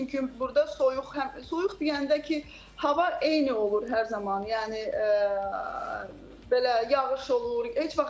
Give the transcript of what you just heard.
Çünki burda soyuq həm soyuq deyəndə ki, hava eyni olur hər zaman, yəni belə yağış olur.